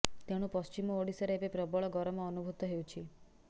ତେଣୁ ପଶ୍ଚିମ ଓଡ଼ିଶାରେ ଏବେ ପ୍ରବଳ ଗରମ ଅନୁଭୂତ ହେଉଛି